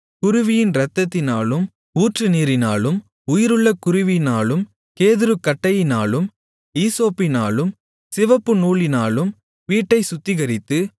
குருவியின் இரத்தத்தினாலும் ஊற்றுநீரினாலும் உயிருள்ள குருவியினாலும் கேதுருக்கட்டையினாலும் ஈசோப்பினாலும் சிவப்புநூலினாலும் வீட்டைச் சுத்திகரித்து